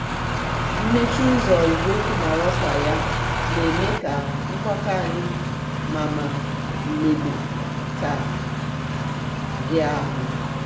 mmechi úzò igwe okwu mara òkwa ya n'eme ka nkwakò anyi mama mgbede taa hia ahú.